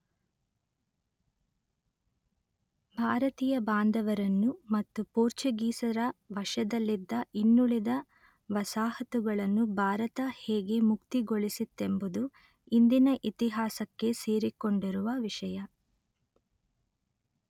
ಭಾರತೀಯ ಬಾಂಧವರನ್ನು ಮತ್ತು ಪೋರ್ಚುಗೀಸರ ವಶದಲ್ಲಿದ್ದ ಇನ್ನುಳಿದ ವಸಾಹತುಗಳನ್ನು ಭಾರತ ಹೇಗೆ ಮುಕ್ತಿಗೊಳಿಸಿತೆಂಬುದು ಇಂದಿನ ಇತಿಹಾಸಕ್ಕೆ ಸೇರಿಕೊಂಡಿರುವ ವಿಷಯ